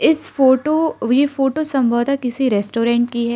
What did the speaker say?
इस फोटो यह फोटो संभवत किसी रेस्टोरेंट की है।